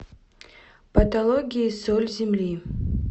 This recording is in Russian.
патологии соль земли